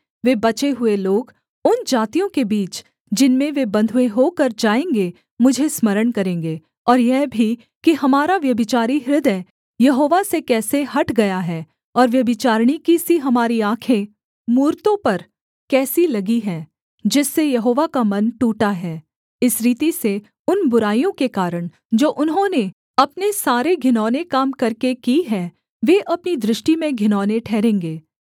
वे बचे हुए लोग उन जातियों के बीच जिनमें वे बँधुए होकर जाएँगे मुझे स्मरण करेंगे और यह भी कि हमारा व्यभिचारी हृदय यहोवा से कैसे हट गया है और व्यभिचारिणी की सी हमारी आँखें मूरतों पर कैसी लगी हैं जिससे यहोवा का मन टूटा है इस रीति से उन बुराइयों के कारण जो उन्होंने अपने सारे घिनौने काम करके की हैं वे अपनी दृष्टि में घिनौने ठहरेंगे